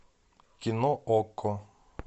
кино окко